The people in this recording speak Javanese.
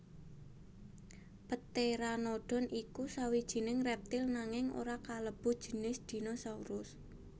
Pteranodon iku sawijining reptil nanging ora kalebu jinis dinosaurus